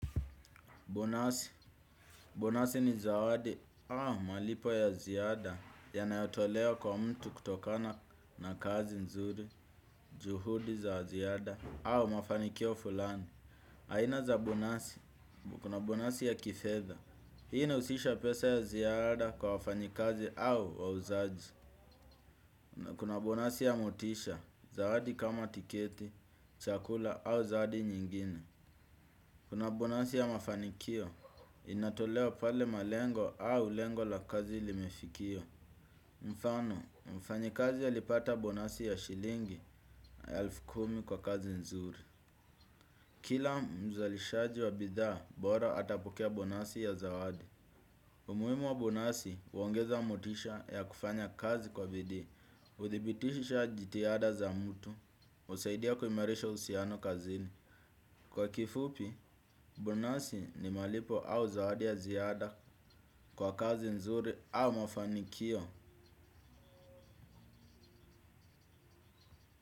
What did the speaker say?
Bonasi, bonasi ni zawadi au malipo ya ziada yanayotolewa kwa mtu kutokana na kazi nzuri, juhudi za ziada au mafanikio fulani. Aina za bonasi, kuna bonasi ya kifedha, hii inahusisha pesa ya ziada kwa wafanyikazi au wauzaji. Kuna bonasi ya motisha, zawadi kama tiketi, chakula au zawadi nyingine. Kuna bonasi ya mafanikio, inatolewa pale malengo au lengo la kazi limefikiwa. Mfano, mfanyikazi alipata bonasi ya shilingi, ya elfu kumi kwa kazi nzuri. Kila mzalishaji wa bidhaa, bora atapokea bonasi ya zawadi. Umuhimu wa bonasi, huongeza motisha ya kufanya kazi kwa bidii. Hudhibitisha jitihada za mtu, husaidia kuimarisha uhusiano kazini. Kwa kifupi, bonasi ni malipo au zawadi ya ziada kwa kazi nzuri au mafanikio.